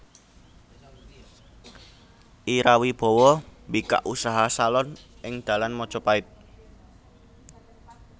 Ira Wibowo mbikak usaha salon ing dalan Majapahit